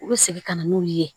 U bɛ segin ka na n'u ye